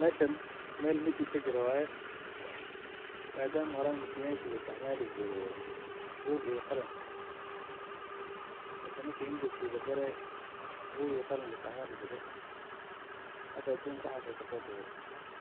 Meshan mel meeting kajiro waye, madama horan meeting-yasha laisticmali jire bug iyo qalin mise marki interview lagalay bug iyo qalin laisticmali jire , hada adunka waxas uu kasotage,